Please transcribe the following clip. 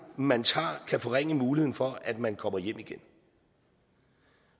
man tager kan forringe muligheden for at man kommer hjem igen